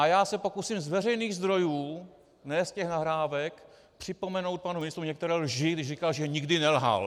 A já se pokusím z veřejných zdrojů, ne z těch nahrávek, připomenout panu ministrovi některé lži, když říkal, že nikdy nelhal.